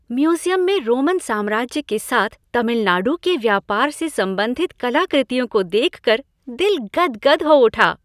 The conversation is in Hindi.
म्यूजियम में रोमन साम्राज्य के साथ तमिलनाडु के व्यापार से संबन्धित कलाकृतियों को देखकर दिल गदगद हो उठा।